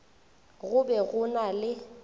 go be go na le